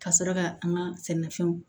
Ka sɔrɔ ka an ka sɛnɛfɛnw